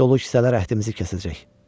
Dolu kisələr əhtimimizi kəsəcək.